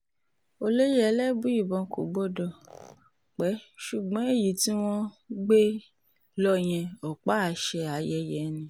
olóye elébùíbọn kò gbọdọ̀ pẹ́ ṣùgbọ́n èyí tí wọ́n um gbé lọ yẹn ọ̀pá-àṣẹ ayẹyẹ um ni